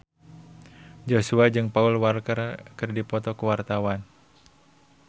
Joshua jeung Paul Walker keur dipoto ku wartawan